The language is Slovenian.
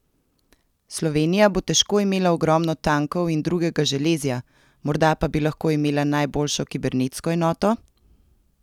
Slovenija bo težko imela ogromno tankov in drugega železja, morda pa bi lahko imela najboljšo kibernetsko enoto?